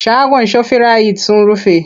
Shagon shofirayit sun rufe.